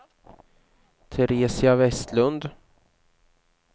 Teresia Vestlund